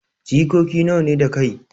Jikoki nawa ne da kai.